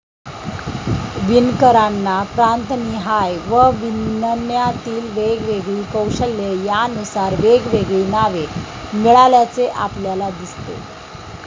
विणकरांना प्रांतनिहाय व विणण्यातील वेगवेगळी कौशल्ये यानुसार वेगवेगळी नावे मिळाल्याचे आपल्याला दिसते.